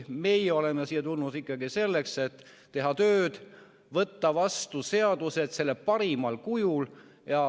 Meie oleme siia tulnud selleks, et teha tööd ja võtta vastu seadusi parimal kujul.